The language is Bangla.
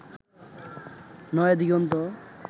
নয়াদিগন্ত